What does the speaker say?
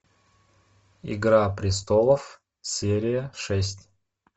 игра престолов серия шесть